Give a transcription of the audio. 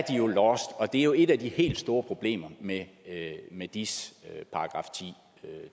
jo lost det er jo et af de helt store problemer med med dis